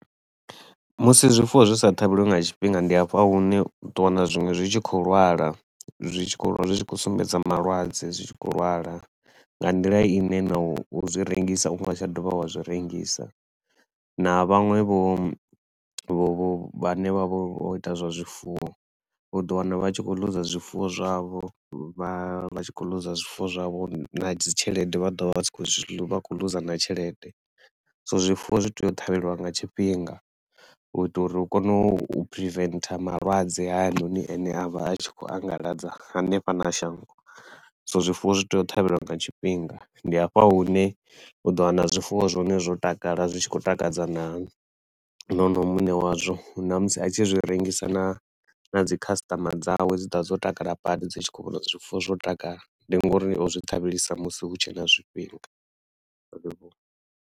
Musi zwifuwo zwa sa ṱhavheliwe nga tshifhinga ndi hafha hune u tou wana zwiṅwe zwi tshi khou lwala, zwi tshi khou lwala zwi tshi khou sumbedza malwadze zwi tshi khou lwala nga nḓila i ne na u zwi rengisa u nga tsha dovha wa zwi rengisa. Na vhaṅwe vho vho vho vhanevha vha u ita zwa zwifuwo, u ḓo wana vha tshi khou loser zwifuwo zwavho vha vha tshi khou loser zwifuwo zwavho na dzi tshelede vha ḓovha vha tshi khou loser na tshelede. So zwifuwo zwi tea u ṱhavheliwa nga tshifhinga u ita uri u kone u preventer malwadze hayanoni a ne a vha a tshi khou anḓadza hanefha na shango. So zwifuwo zwi tea u ṱhavhelwa nga tshifhinga, ndi hafha hune u ḓo wana zwifuwo zwa hone zwo takala, zwi tshi khou takadza na na honoyu muṋe wazwo na musi a tshi zwi rengisa na na dzikhasitama dzawe dzi ḓa dzo takala badi dzi tshi khou vhona uri zwifuwo zwo takala ndi nga uri o zwi ṱhavhelisa musi hu tshe na zwifhinga.